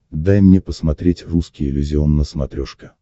дай мне посмотреть русский иллюзион на смотрешке